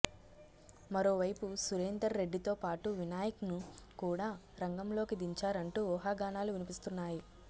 మరోవైపు సురేందర్ రెడ్డితో పాటు వినాయక్ ను కూడా రంగంలోకి దించారంటూ ఊహాగానాలు వినిపిస్తున్నాయి